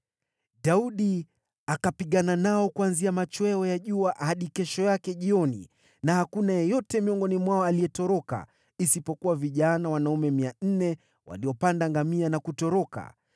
Daudi akapigana nao kuanzia machweo ya jua hadi kesho yake jioni, na hakuna yeyote miongoni mwao aliyetoroka, isipokuwa vijana wanaume 400 waliopanda ngamia na kutoroka.